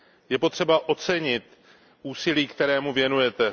Je potřeba ocenit úsilí, které mu věnujete.